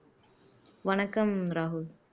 வணக்கம் ராகுல்